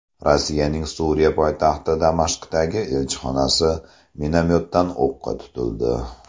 Rossiyaning Suriya poytaxti Damashqdagi elchixonasi minomyotdan o‘qqa tutildi.